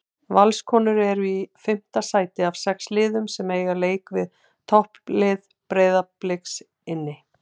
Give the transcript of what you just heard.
Valskonur eru í fimmta sæti af sex liðum en eiga leik við topplið Breiðabliks inni.